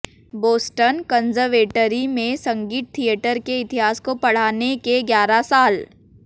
Boston conservatory में संगीत theatre के इतिहास को पढ़ाने के ग्यारह साल